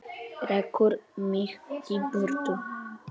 Rekur mig í burtu?